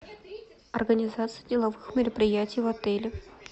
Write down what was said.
организация деловых мероприятий в отеле